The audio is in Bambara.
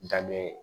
Da dɔ ye